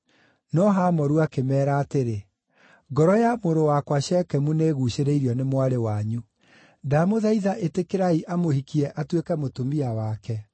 No Hamoru akĩmeera atĩrĩ, “Ngoro ya mũrũ wakwa Shekemu nĩĩguucĩrĩirio nĩ mwarĩ wanyu. Ndamũthaitha ĩtĩkĩrai amũhikie atuĩke mũtumia wake.